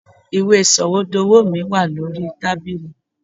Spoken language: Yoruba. Ìwé Sọ̀wédowó mi wà ní orí tábìlì.